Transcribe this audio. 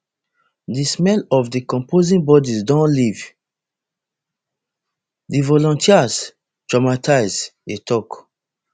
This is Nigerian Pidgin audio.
di smell of decomposing bodies don leave di volunteers traumatised e tok